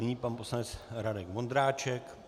Nyní pan poslanec Radek Vondráček.